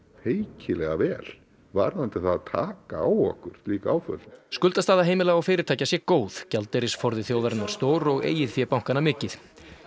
feikilega vel varðandi það að taka á okkur slík áföll skuldastaða heimila og fyrirtækja sé góð gjaldeyrisforði þjóðarinnar stór og eigið fé bankanna mikið